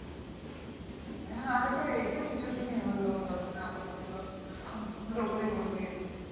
হ্যাঁ আগে তো এ সব কিছু দিনই হলও দশ টাকা করে ছিলও এখন লোকেরা বলে দিয়েছে